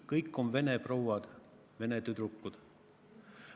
–, kõik on vene prouad, vene tüdrukud.